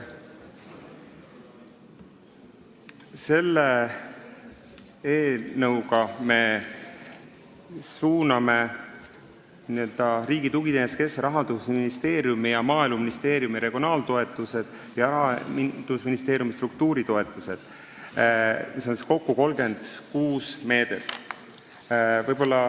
Selle eelnõuga me suuname Riigi Tugiteenuste Keskusesse Rahandusministeeriumi ja Maaeluministeeriumi regionaaltoetused ning Rahandusministeeriumi struktuuritoetused, kokku 36 meedet.